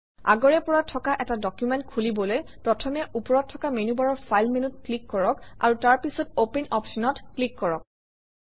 আগৰে পৰা থকা এটা ডকুমেণ্ট খুলিবলৈ প্ৰথমে ওপৰত থকা মেনুবাৰৰ ফাইল মেনুত ক্লিক কৰক আৰু তাৰ পিছত অপেন অপশ্যনত ক্লিক কৰক